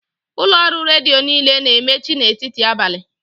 Ụlọ ọrụ redio niile na-emechi n'etiti abalị